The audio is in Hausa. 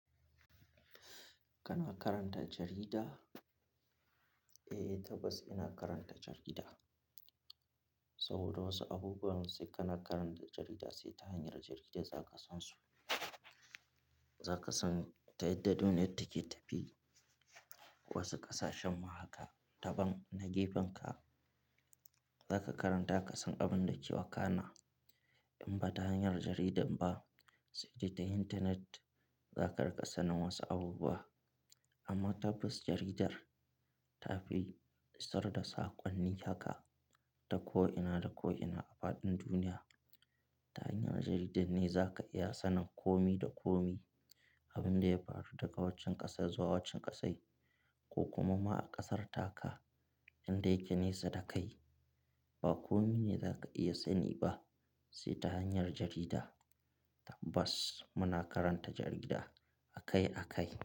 Kana karanta jarida? Eh, tabbas ina karanta jarida. Saboda wasu abubuwan sai kana karanta jarida, sai ta hanyar jarida za ka san su. Za ka san ta yadda duniya take tafiya, wasu ƙasashen ma haka. Taban na gefenka za ka karanta ka san abin da ke wakana. In ba ta hanyar jarida ba sai dai ta intanet, zaka rika sanin wasu abubuwa. Amma tabbas jaridar ta fi isar da saƙonni haka ta ko'ina da ko'ina a faɗin duniya. Ta hanyar jarida ne za ka iya sanin komi da komi, abin da ya faru daga waccen ƙasar zuwa waccan ƙasar ko kuma ma a ƙasarta ka. Inda yake nesa da kai, ba kome ne za ka iya sani ba sai ta hanyar jarida. Tabbas muna karanta jarida akai akai.